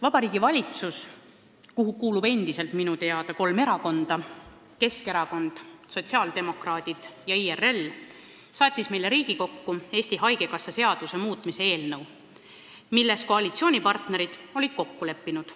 Vabariigi Valitsus, kuhu kuulub endiselt minu teada kolm erakonda – Keskerakond, sotsiaaldemokraadid ja IRL –, saatis meile Riigikokku Eesti Haigekassa seaduse muutmise eelnõu, milles koalitsioonipartnerid olid kokku leppinud.